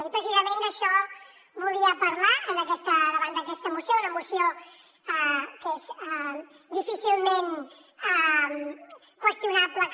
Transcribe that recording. i precisament d’això volia parlar davant d’aquesta moció una moció que és difícilment qüestionable que